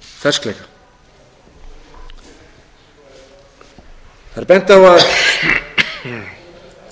ferskleika það er bent á að